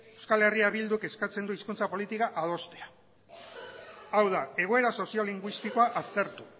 eh bilduk eskatzen du hizkuntza politika adostea hau da egoera soziolinguistikoa aztertu